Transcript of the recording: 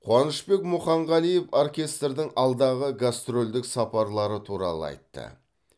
қуанышбек мұханғалиев оркестрдің алдағы гастрольдік сапарлары туралы айтты